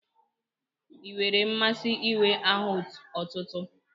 Ị nwere mmasị inwe aha otutu?